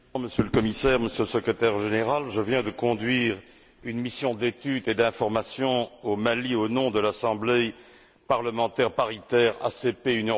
Monsieur le Président, Monsieur le Commissaire, Monsieur le Secrétaire général, je viens de conduire une mission d'étude et d'information au Mali, au nom de l'Assemblée parlementaire paritaire ACP UE.